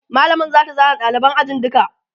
mallamar zata zana ɗaliban ajin duka